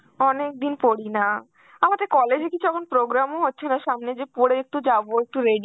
অনেকদিন পরি না, আমাদের college এ কিছু এখন program ও হচ্ছে না সামনে যে পরে একটু যাবো, একটু ready